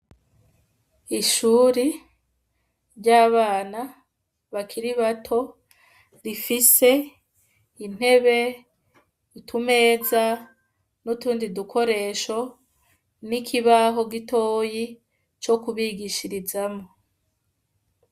Ishure ry'abana bakiri bato rifise intebe, utumeza n'utundi dukoresho n'ikibaho gitoyi co kubigishirizamwo.